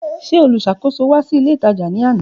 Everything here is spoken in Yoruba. Ṣe olusakoso wa si ile itaja ni ana.